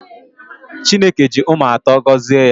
Chineke ji ụmụ atọ gọzie ya